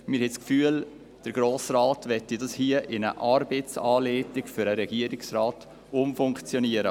Wir haben den Eindruck, der Grosse Rat wolle sie in eine Arbeitsanleitung für den Regierungsrat umfunktionieren.